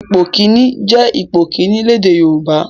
Ipò kìíní' jẹ́ ipò kìíní lédè Yorùbá.